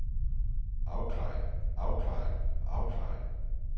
afklaring afklaring afklaring